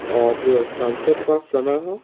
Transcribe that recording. और जो सनसेट का समय है।